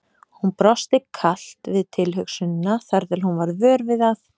Hún brosti kalt við tilhugsunina þar til hún varð vör við að